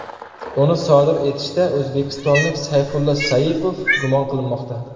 Uni sodir etishda o‘zbekistonlik Sayfullo Saipov gumon qilinmoqda .